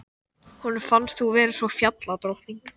Honum finnst þú vera eins og fjalladrottning.